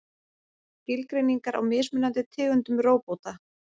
Skilgreiningar á mismunandi tegundum róbóta.